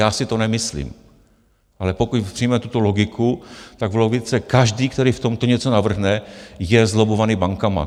Já si to nemyslím, ale pokud přijmete tu logiku, tak v logice každý, který v tomto něco navrhne, je zlobbovaný bankami.